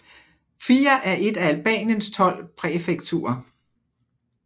Fier er et af Albaniens tolv præfekturer